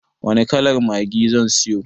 Wani kalar maggi zan siyo?